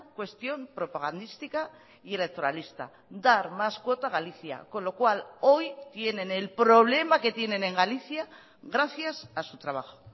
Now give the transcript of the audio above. cuestión propagandística y electoralista dar más cuota a galicia con lo cual hoy tienen el problema que tienen en galicia gracias a su trabajo